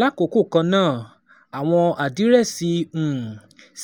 Lákòókò kan náà, àwọn àdírẹ́sì um